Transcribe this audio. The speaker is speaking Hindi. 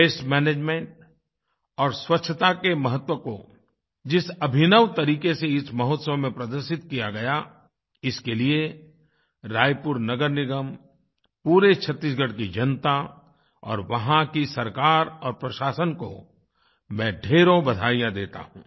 वास्ते मैनेजमेंट और स्वच्छता के महत्व को जिस अभिनव तरीक़े से इस महोत्सव में प्रदर्शित किया गया इसके लिए रायपुर नगर निगम पूरे छत्तीसगढ़ की जनता और वहां की सरकार और प्रशासन को मैं ढ़ेरों बधाइयाँ देता हूँ